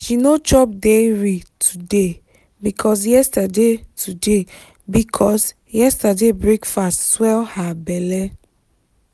she no chop dairy today because yesterday today because yesterday breakfast swell her belle.